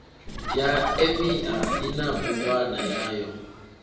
ya emia ina bugwana yayo